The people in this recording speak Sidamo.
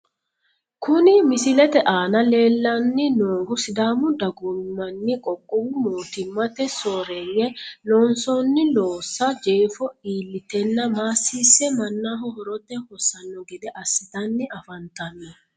Kuni misilete aana leellanni noohu sidaamu dagoomi manni qoqqowi mootummate sooreeyye loonsooni loossa jeefo illiteenna maassiisse mannaho horote hosanno gede assitanni afantanno.